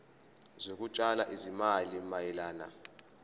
zokutshala izimali mayelana